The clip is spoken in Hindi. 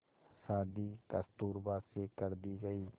शादी कस्तूरबा से कर दी गई